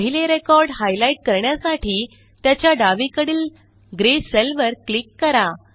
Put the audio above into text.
पहिले record highlight करण्यासाठी त्याच्या डावीकडील ग्रे सेल वर क्लिक करा